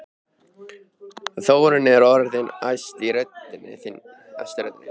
Þórunn er orðin æst í röddinni.